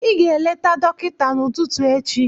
Ị ga-eleta dọkịta n'ụtụtụ echi